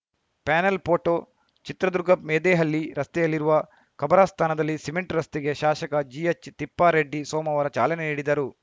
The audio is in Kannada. ಪ್ಯಾನೆಲ್‌ ಫೋಟೋ ಚಿತ್ರದುರ್ಗ ಮೆದೆಹಳ್ಳಿ ರಸ್ತೆಯಲ್ಲಿರುವ ಖಬರಸ್ಥಾನದಲ್ಲಿ ಸಿಮೆಂಟ್‌ ರಸ್ತೆಗೆ ಶಾಸಕ ಜಿಎಚ್‌ ತಿಪ್ಪಾರೆಡ್ಡಿ ಸೋಮವಾರ ಚಾಲನೆ ನೀಡಿದರು